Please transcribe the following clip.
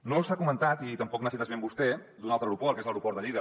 no s’ha comentat i tampoc no n’ha fet esment vostè un altre aeroport que és l’aeroport de lleida